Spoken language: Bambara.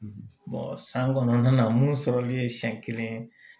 san kɔnɔna na mun sɔrɔli ye siɲɛ kelen